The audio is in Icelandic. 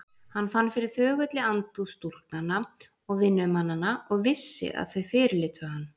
Hann fann fyrir þögulli andúð stúlknanna og vinnumannanna og vissi að þau fyrirlitu hann.